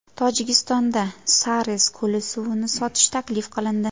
Tojikistonda Sarez ko‘li suvini sotish taklif qilindi.